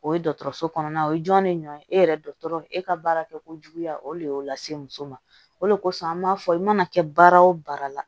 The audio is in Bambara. O ye dɔgɔtɔrɔso kɔnɔna o ye jɔn de ɲɔn ye e yɛrɛ dɔgɔtɔrɔ e ka baarakɛko juguya o de y'o lase muso ma o de kosɔn an b'a fɔ i mana kɛ baara o baara la